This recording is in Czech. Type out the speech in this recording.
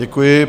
Děkuji.